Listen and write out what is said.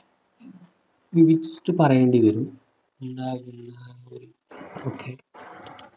വിവരിച്ചു പറയേണ്ടി വരും okay